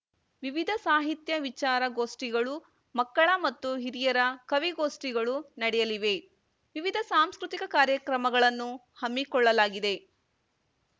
ವಿವಿಧ ಸಾಹಿತ್ಯ ವಿಚಾರ ಗೋಷ್ಠಿಗಳು ಮಕ್ಕಳ ಮತ್ತು ಹಿರಿಯರ ಕವಿಗೋಷ್ಠಿಗಳು ನಡೆಯಲಿವೆ ವಿವಿಧ ಸಾಂಸ್ಕೃತಿಕ ಕಾರ್ಯಕ್ರಮಗಳನ್ನು ಹಮ್ಮಿಕೊಳ್ಳಲಾಗಿದೆ